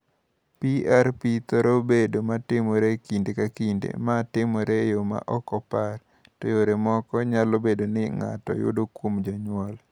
"PRP thoro bedo ma timore e kinde ka kinde (ma timore e yo ma ok opar) to yore moko nyalo bedo ni ng’ato yudo kuom jonyuol."